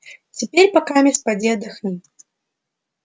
теперь покамест поди отдохни